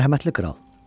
Mərhəmətli kral.